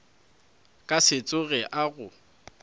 ka se tsoge a go